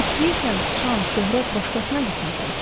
İstəyirsən şan, şöhrət başqasına qismət olsun?